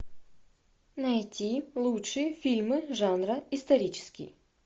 найти лучшие фильмы жанра исторический